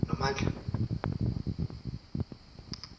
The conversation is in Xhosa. nomandla